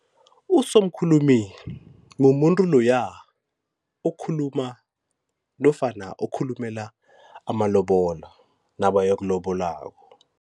Usomkhulumi mumuntu loya okhuluma nofana okhulumela amalobolo nabayokulobolako.